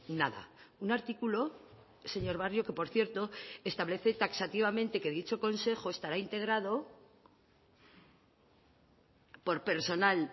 nada un artículo señor barrio que por cierto establece taxativamente que dicho consejo estará integrado por personal